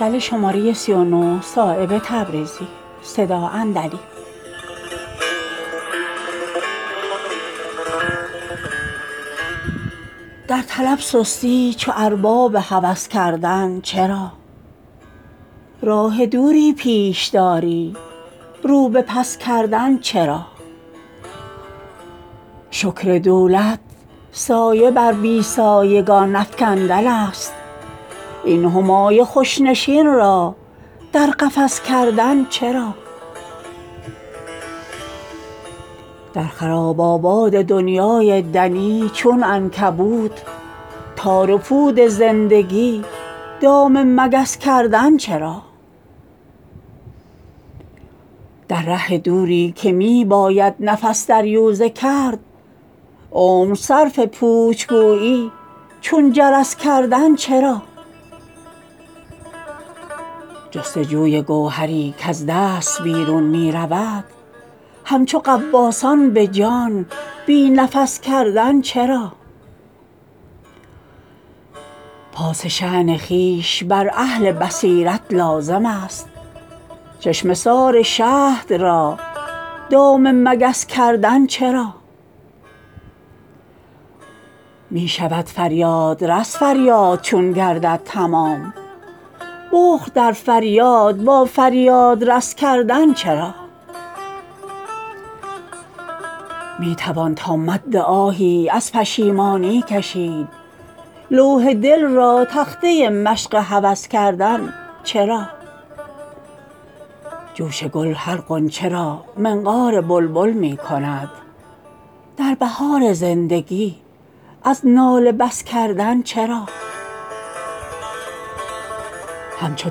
در طلب سستی چو ارباب هوس کردن چرا راه دوری پیش داری رو به پس کردن چرا شکر دولت سایه بر بی سایگان افکندن است این همای خوش نشین را در قفس کردن چرا در خراب آباد دنیای دنی چون عنکبوت تار و پود زندگی دام مگس کردن چرا در ره دوری که می باید نفس دریوزه کرد عمر صرف پوچ گویی چون جرس کردن چرا جستجوی گوهری کز دست بیرون می رود همچو غواصان به جان بی نفس کردن چرا پاس شا ن خویش بر اهل بصیرت لازم است چشمه سار شهد را دام مگس کردن چرا می شود فریادرس فریاد چون گردد تمام بخل در فریاد با فریادرس کردن چرا می توان تا مد آهی از پشیمانی کشید لوح دل را تخته مشق هوس کردن چرا جوش گل هر غنچه را منقار بلبل می کند در بهار زندگی از ناله بس کردن چرا همچو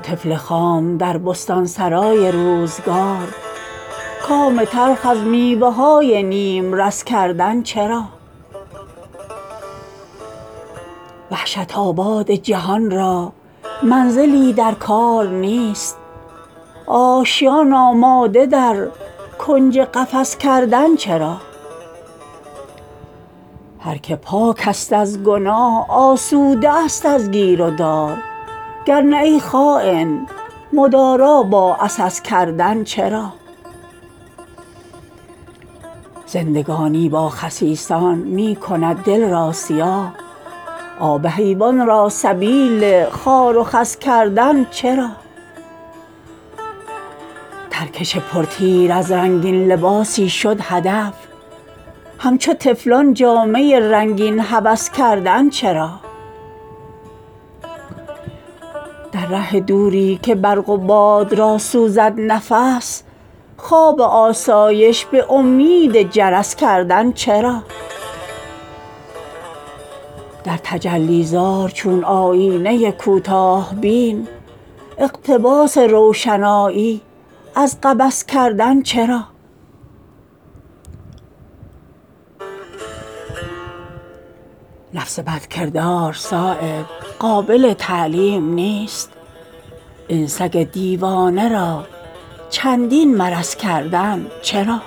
طفل خام در بستانسرای روزگار کام تلخ از میوه های نیمرس کردن چرا وحشت آباد جهان را منزلی در کار نیست آشیان آماده در کنج قفس کردن چرا هر که پاک است از گناه آسوده است از گیر و دار گر نه ای خاین مدارا با عسس کردن چرا زندگانی با خسیسان می کند دل را سیاه آب حیوان را سبیل خار و خس کردن چرا ترکش پر تیر از رنگین لباسی شد هدف همچو طفلان جامه رنگین هوس کردن چرا در ره دوری که برق و باد را سوزد نفس خواب آسایش به امید جرس کردن چرا در تجلی زار چون آیینه کوتاه بین اقتباس روشنایی از قبس کردن چرا نفس بد کردار صایب قابل تعلیم نیست این سگ دیوانه را چندین مرس کردن چرا